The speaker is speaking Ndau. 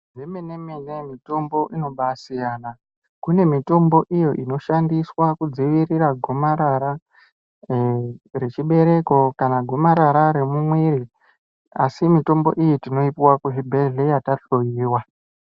Zvemene-mene mitombo inobasiyana kune mitombo iyo inoshandiswa kudzivirira gomarara rechibereko, kana gomarara remumwiri. Asi mitombo iyi tinoipuva kuzvibhedhlera tahlowa.